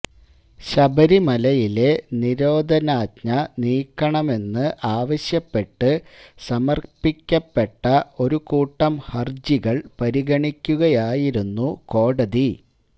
ശബരിമലയിലെ നിരോധനാജ്ഞ നീക്കണമെന്ന് ആവശ്യപ്പെട്ട് സമര്പ്പിക്കപ്പെട്ട ഒരു കൂട്ടം ഹര്ജികള് പരിഗണിക്കുകയായിരുന്നു കോടതി